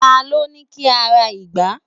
ta lo ni ki o ra ìgbá